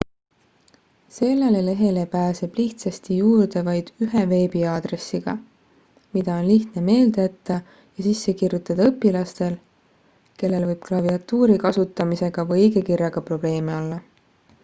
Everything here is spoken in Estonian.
sellele lehele pääseb lihtsasti juurde vaid ühe veebiaadressiga mida on lihtne meelde jätta ja sisse kirjutada õpilastel kellel võib klaviatuuri kasutamisega või õigekirjaga probleeme olla